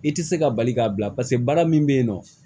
I tɛ se ka bali k'a bila paseke baara min bɛ yen nɔ